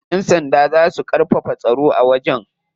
Yan sanda za su karfafa tsaro a wajen.